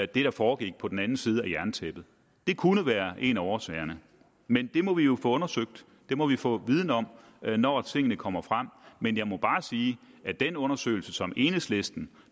der foregik på den anden side af jerntæppet det kunne være en af årsagerne men det må vi jo få undersøgt det må vi få viden om når tingene kommer frem men jeg må bare sige at den undersøgelse som enhedslisten enhedslisten